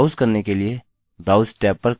browse करने के लिए browse tab पर क्लिक करें